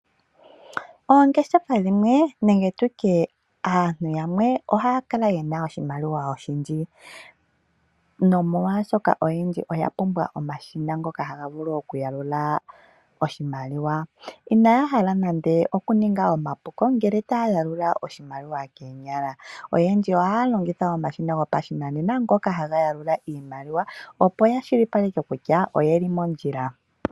Oongeshefa dhimwe nenge tu tye aantu yamwe ohaya kala yena oshimaliwa oshindji nomolwashoka oyendji oya pumbwa omashina ngoka haga vulu oku ya lula oshimaliwa. Inaya hala nande oku ninga omapuko ngele taya yalula oshimaliwa keenyala . Oyendji ohaya longitha omashina gopashinanena ngoka haga yalula iimaliwa opo yashilipaleke kutya oyeli mondjila.